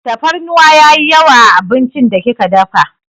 Tafarnuwa yayi yawa a abincin da kika dafa.